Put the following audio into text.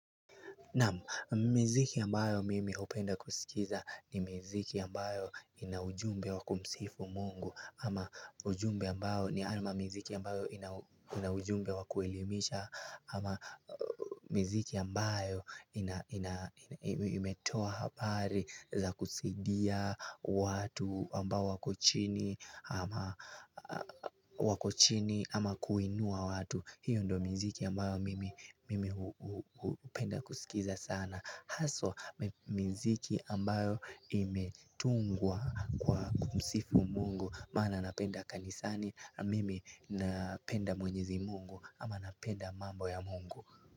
Naam miziki ambayo mimi hupenda kusikiza ni miziki ambayo ina ujumbe wakumsifu Mungu ama ujumbe ambayo ni hayo maziki ambayo ina ujumbe wakuelimisha ama miziki ambayo imetoa habari za kusidia watu ambao wako chini ama wako chini ama kuinua watu. Hiyo ndo miziki ambayo mimi hupenda kusikiza sana Haswa miziki ambayo imetungwa kwa kumsifu Mungu. Maana napenda kanisani mimi napenda Mwenyezi Mungu. Ama napenda mambo ya Mungu.